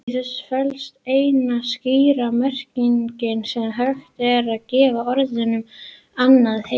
Í þessu felst eina skýra merkingin sem hægt er að gefa orðunum annar heimur.